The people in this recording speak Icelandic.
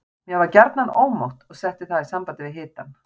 Mér var gjarnan ómótt og setti það í samband við hitann.